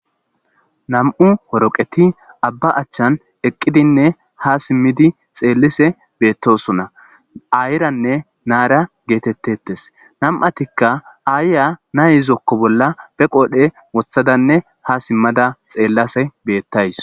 nam'u horoqeti abba achchan eqqidinne ha simmidi xeellise beettosona ayiranne naara geetettetes nam'atikka aayya na izokko bolla be qoodhe wothadanne ha simmada xeellase beettawus